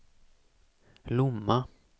Lomma